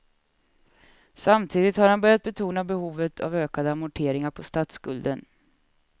Samtidigt har han börjat betona behovet av ökade amorteringar på statsskulden.